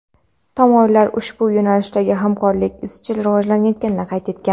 tomonlar ushbu yo‘nalishdagi hamkorlik izchil rivojlanayotganini qayd etgan.